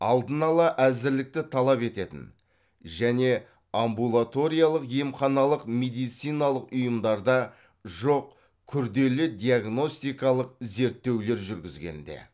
алдын ала әзірлікті талап ететін және амбулаториялық емханалық медициналық ұйымдарда жоқ күрделі диагностикалық зерттеулер жүргізгенде